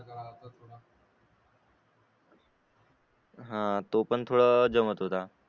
हा तो पण थोडा जमत होता